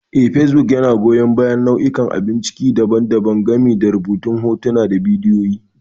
Eh, facebook yana goyan bayan nau'ikan abun ciki daban-daban, gami da rubutu, hotuna, da bidiyo.